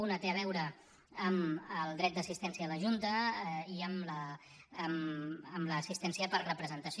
una té a veure amb el dret d’a ssistència a la junta i amb l’assistència per representació